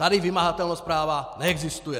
Tady vymahatelnost práva neexistuje!